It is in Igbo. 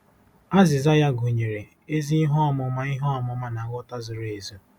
Azịza ya gụnyere “ezi ihe ọmụma ihe ọmụma na nghọta zuru ezu.”